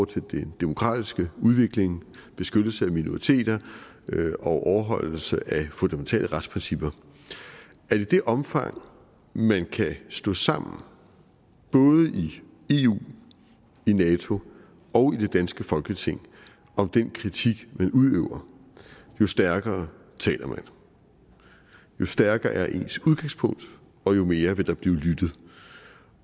til den demokratiske udvikling beskyttelse af minoriteter og overholdelse af fundamentale retsprincipper at i det omfang man kan stå sammen både i eu i nato og i det danske folketing om den kritik man udøver jo stærkere taler man jo stærkere er ens udgangspunkt og jo mere vil der blive lyttet